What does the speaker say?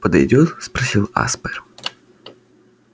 подойдёт спросил аспер